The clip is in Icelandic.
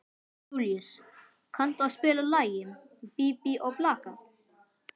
Júlíus, kanntu að spila lagið „Bí bí og blaka“?